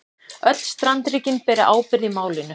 Öll strandríkin beri ábyrgð í málinu